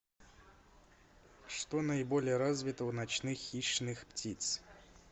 что наиболее развито у ночных хищных птиц